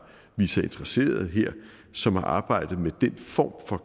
vist sig interesserede som har arbejdet med den form for